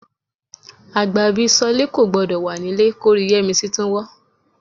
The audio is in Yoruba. Àgbà bí Ṣọ́lé kò gbọdọ̀ wà nílé kórí Yẹ́misí tún wọ́